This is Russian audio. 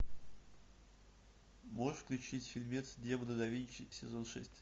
можешь включить фильмец демоны да винчи сезон шесть